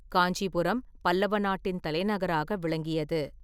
காஞ்சிபுரம் பல்லவ நாட்டின் தலைநகராக விளங்கியது.